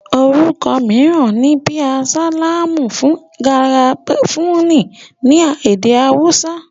Orúkọ mìíràn ni píà básàmù fún garafuni ní èdè awúsá